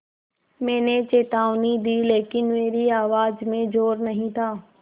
मैंने चेतावनी दी लेकिन मेरी आवाज़ में ज़ोर नहीं था